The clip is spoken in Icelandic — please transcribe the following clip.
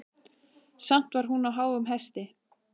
Samt var hún á háum hesti.